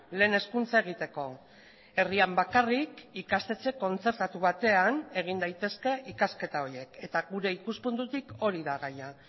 lehen hezkuntza egiteko herrian bakarrik ikastetxe kontzertatu batean egin daitezke ikasketa horiek eta gure ikuspuntutik hori da gaia